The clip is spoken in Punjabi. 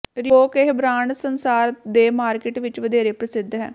ਰਿਬੋਕ ਇਹ ਬ੍ਰਾਂਡ ਸੰਸਾਰ ਦੇ ਮਾਰਕੀਟ ਵਿਚ ਵਧੇਰੇ ਪ੍ਰਸਿੱਧ ਹੈ